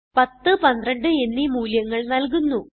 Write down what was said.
10 12 എന്നീ മൂല്യങ്ങൾ നല്കുന്നു